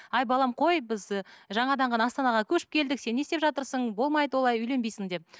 ай балам қой біз ы жаңадан ғана астанаға көшіп келдік сен не істеп жатырсың болмайды олай үйленбейсің деп